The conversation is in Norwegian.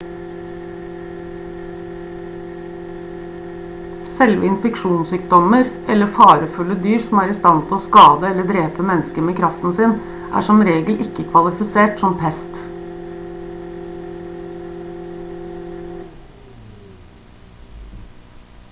selve infeksjonssykdommer eller farefulle dyr som er i stand til å skade eller drepe mennesker med kraften sin er som regel ikke kvalifisert som pest